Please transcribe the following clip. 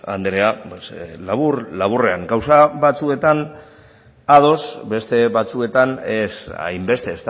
andrea labur laburrean gauza batzuetan ados beste batzuetan ez hainbeste